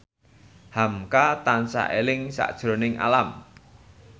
hamka tansah eling sakjroning Alam